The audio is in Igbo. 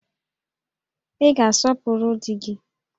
Ị ga-asọpụrụ di gị!